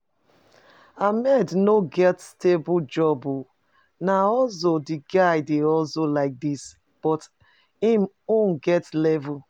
Ahmed no get stable job oo, na hustle the guy dey hustle like dis, but im own get levels